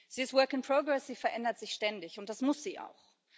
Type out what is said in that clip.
Sie ist sie verändert sich ständig, und das muss sie auch.